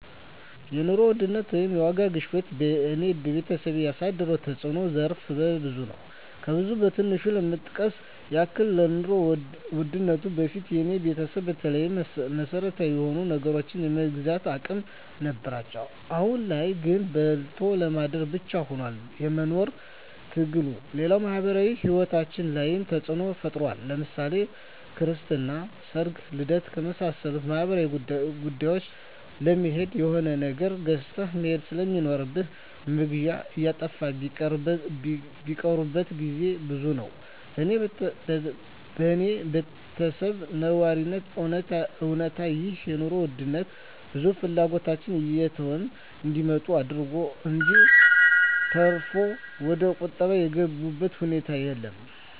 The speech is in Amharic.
የኑሮ ውድነት ወይም የዋጋ ግሽበት በኔና በቤተሰቤ ያሳደረው ተጽኖ ዘርፈ ብዙ ነው። ከብዙ በትንሹ ለመጥቀስ ያክል ከኑሮ ውድነቱ በፊት የኔ ቤተሰብ በተለይ መሰረታዊ የሆኑ ነገሮችን የመግዛት አቅም ነበራቸው አሁን ላይ ግን በልቶ ለማደር ብቻ ሁኗል የመኖር ትግሉ፣ ሌላው ማህበራዊ ሂወታችን ላይ ተጽኖ ፈጥሯል ለምሳሌ ክርስትና፣ ሰርግና ልደት ከመሳሰሉት ማህበራዊ ጉዳዮች ለመሄድ የሆነ ነገር ገዝተህ መሄድ ስለሚኖር መግዣው እየጠፋ ሚቀሩበት ግዜ ብዙ ነው። በኔ በተሰብ ነባራዊ እውነታ ይህ የኑሮ ውድነት ብዙ ፍላጎቶችን እየተው እንዲመጡ አደረገ እንጅ ተርፎ ወደቁጠባ የገቡበት ሁኔታ የለም።